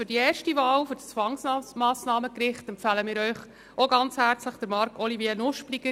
Für die erste Wahl für das Zwangsmassnahmengericht empfehlen wir Ihnen ganz herzlich Marc-Olivier Nuspliger.